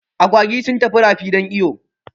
Agwagi sun tafi rafi don iyo